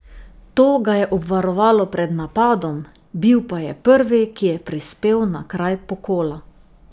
To ga je obvarovalo pred napadom, bil pa je prvi, ki je prispel na kraj pokola.